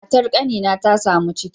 Matar kanina ta samu ciki